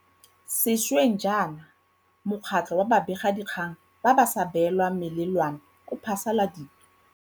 Sešweng jaana Mokgatlho wa Babegakgang ba ba sa Beelwang Melelwane o phasaladitse.